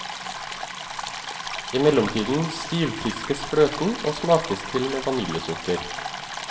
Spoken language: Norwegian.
I mellomtiden stivpiskes fløten og smakes til med vaniljesukker.